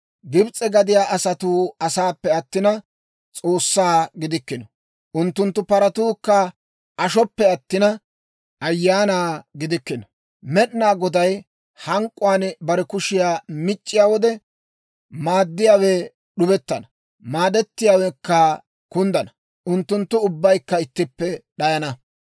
Gibs'e gadiyaa asatuu asaappe attina, s'oossaa gidikkino. Unttunttu paratuukka ashoppe attina, ayaana gidikkino. Med'inaa Goday hank'k'uwaan bare kushiyaa mic'c'iyaa wode, maaddiyaawe d'ubettana; maadettiyaawekka kunddana; unttunttu ubbaykka ittippe d'ayana.